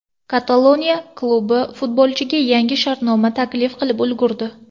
Kataloniya klubi futbolchiga yangi shartnoma taklif qilib ulgurdi .